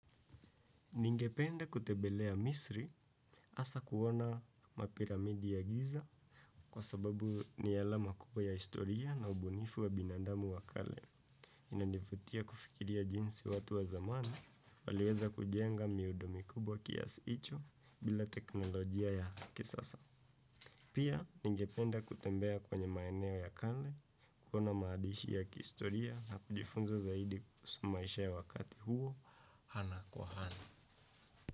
Ningependa kutembelea misri hasa kuona mapiramidi ya giza kwa sababu ni alama kubwa ya historia na ubunifu wa binadamu wa kale. Inanivutia kufikiria jinsi watu wa zamani waliweza kujenga miundo mikubwa kiasi hicho bila teknolojia ya kisasa. Pia ningependa kutembea kwenye maeneo ya kale, kuona maadishi ya kihistoria na kujifunza zaidi kuhusu maisha ya wakati huo, ana kwa ana.